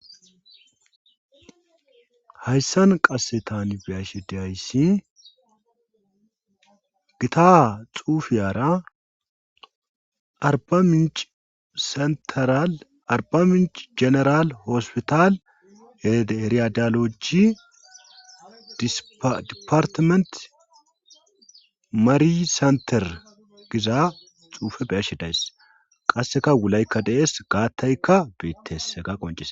Hayssan qasse tan beyashedayssi gita xuufeyara arba minci jeneral hospital heriydaloji departiment mari senter giza xuufe beyashe dayss qasseka wulaykka dees gaattayka beettese ga qoncies.